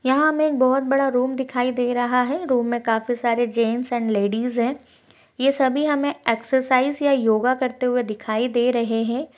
यहाँ हमें एक बोहोत बड़ा रूम दिखाई दे रहा है। रूम में काफी सारे जेंट्स एंड लेडीज़ है। ये सभी हमें एक्ससाइज या योगा करते हुए दिखाई दे रहे हैं।